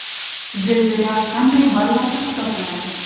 Zilzila qanday ballarda hisoblanadi?